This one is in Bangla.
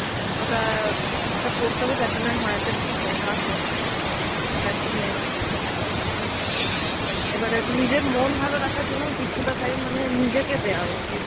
ওটা একটা করতে হবে যার জন্যে আমি মায়ের কাছে খুব বোকা খাই. সেটা একটা main. এবারে হচ্ছে নিজের মন ভালো রাখার জন্যে কিছুটা time মানে নিজেকে দেওয়া উচিত.